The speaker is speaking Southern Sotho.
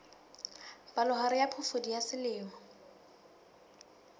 palohare ya phofudi ya selemo